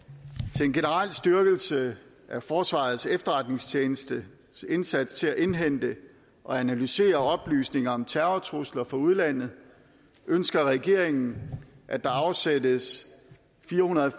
til en generel styrkelse af forsvarets efterretningstjenestes indsats til at indhente og analysere oplysninger om terrortrusler fra udlandet ønsker regeringen at der afsættes fire hundrede og